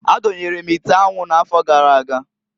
Adonyere m ite anwu n'afọ gara aga.